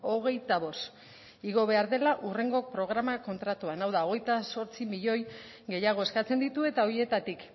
hogeita bost igo behar dela hurrengo programa kontratuan hau da hogeita zortzi milioi gehiago eskatzen ditu eta horietatik